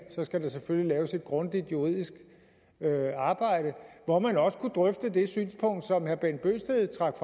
skal der selvfølgelig laves et grundigt juridisk arbejde hvor man også kunne drøfte det synspunkt som herre bent bøgsted trak